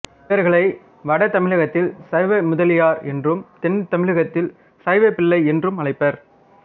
இவர்களை வட தமிழகத்தில் சைவ முதலியார் என்றும் தென் தமிழகத்தில் சைவப் பிள்ளை என்றும் அழைப்பர்